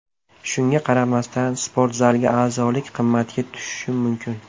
Shunga qaramasdan, sportzalga a’zolik qimmatga tushishi mumkin.